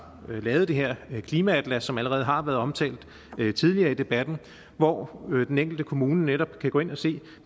lavet det her klimaatlas som allerede har været omtalt tidligere i debatten hvor den enkelte kommune netop kan gå ind og se